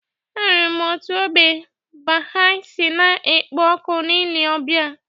Ahụrụ m otú ógbè Baha'i si na-ekpo ọkụ na ile ọbịa.